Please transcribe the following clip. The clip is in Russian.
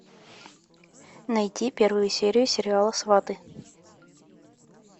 найти первую серию сериала сваты